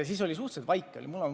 Siis oli suhteliselt vaikne.